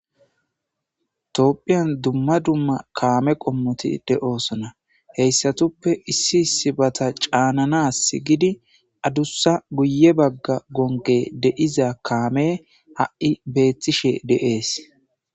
Toopphiyan dumma dumma kaame qommoti deoosona heyssatuppe issi issibata caananas gidi addussa guye bagga gonge deiza kaame ha'i beetishe de'ees.